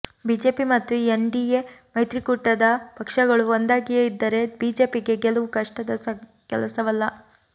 BJP ಮತ್ತು NDA ಮೈತ್ರಿ ಕೂಟದ ಪಕ್ಷಗಳು ಒಂದಾಗಿಯೇ ಇದ್ದರೆ ಬಿಜೆಪಿಗೆ ಗೆಲುವು ಕಷ್ಟದ ಕೆಲಸವಲ್ಲ